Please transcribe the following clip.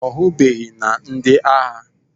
Ọ hụbeghị na ndị agha